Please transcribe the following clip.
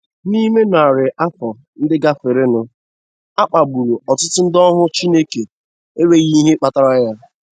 N'ime narị afọ ndị gafeworonụ, a kpagburu ọtụtụ ndị ohu Chineke n'enweghị ihe kpatara ya.